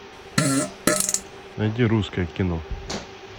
найди русское кино